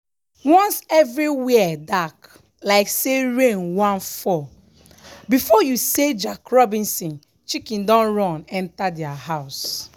once every where dark like say rain wan fall before you say jack robinson chicken don run enter their house.